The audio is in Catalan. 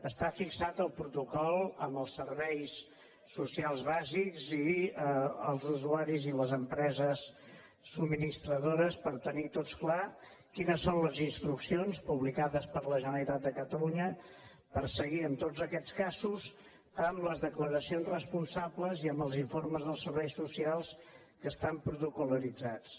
està fixat el protocol amb els serveis socials bàsics i els usuaris i les empreses subministradores per tenir tots clar quines són les instruccions publicades per la generalitat de catalunya per seguir en tots aquests casos amb les declaracions responsables i amb els informes de serveis socials que estan protocol·litzats